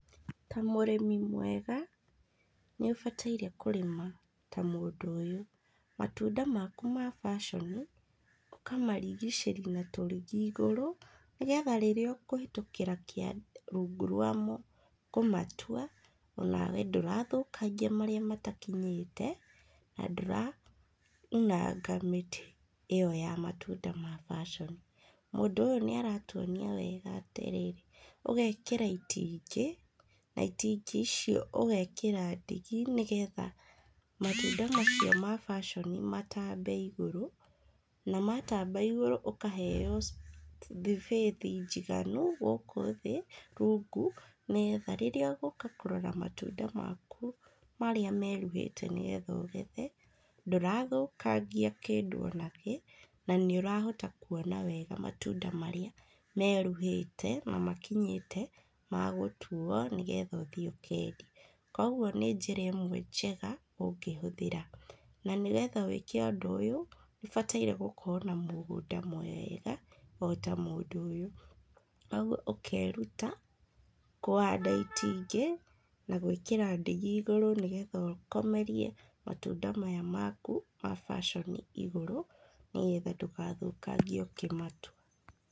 Ta mũrĩmi mwega, nĩ ũbataire kũrĩma ta mũndũ ũyũ. Matunda maku ma passion, ũkamarigicĩria na tũrigi igũrũ nĩgetha rĩrĩa ũkũhĩtũkĩra kĩanda, rũngu rwa mo kũmatua, o nawe ndũrathũkangia marĩa matakinyĩte, na ndũraunanga mĩtĩ ĩyo ya matunda ma passion. Mũndũ ũyũ nĩ aratuonia wega atĩrĩ, ũgekĩra itingĩ, na itingĩ icio ũgekĩra ndigi nĩgetha matunda macio ma baconi matambe igũrũ, na matamba igũrũ ũkaheyo thibĩci njiganu gũkũ thĩ, rungu nĩgetha rĩrĩa ũgũka kũrora matunda maku marĩa meruhĩte nĩgetha ũgethe, ndũrathũkangia kĩndũ o na kĩ na nĩũrahota kuona wega matunda marĩa meruhĩte na makinyĩtie magũtuo nĩgetha ũthiĩ ũkendie, kogwo nĩ njĩra ĩmwe njega ũngĩhũthira. Na nĩgetha wĩke ũndũ ũyũ nĩũbataire gũkorwo na mũgũnada mwega o ta mũndũ ũyũ, ũkeruta kũhanda itingĩ na gwĩkĩra ndĩgi igũrũ nĩgetha ũkomerie matũnda maya maku ma passion igũrũ nĩgetha ndũgathũkangie ũkĩmatua.